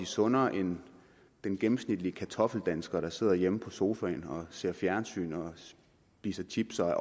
sundere end den gennemsnitlige kartoffeldansker der sidder hjemme i sofaen og ser fjernsyn spiser chips og er